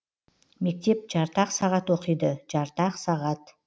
мектеп жарты ақ сағат оқиды жарты ақ сағат